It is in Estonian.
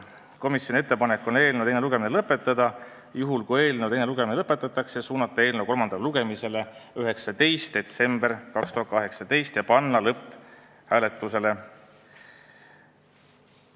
Komisjoni ettepanek on eelnõu teine lugemine lõpetada ja kui eelnõu teine lugemine lõpetatakse, suunata eelnõu kolmandale lugemisele 19. detsembriks 2018 ja panna lõpphääletusele.